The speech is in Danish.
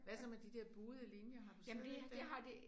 Hvad så med de der buede linjer har du stadigvæk dem?